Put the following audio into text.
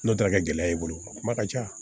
N'o taara kɛ gɛlɛya ye i bolo kuma ka ca